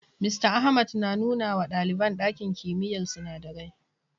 Mista Ahmad na nuna wa ɗaliban ɗakin kimiyyar sinadarai.